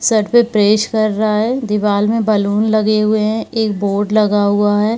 Shirt पर press कर रहा है दीवार में बैलून लगे हुए एक बोर्ड लगा हुआ हैं।